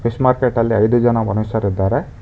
Fish ಮಾರ್ಕೆಟಲ್ಲಿ ಐದು ಜನ ಮನುಷ್ಯರಿದ್ದಾರೆ.